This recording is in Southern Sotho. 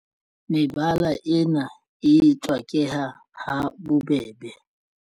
Mebala ena e tswakeha ha bobebe.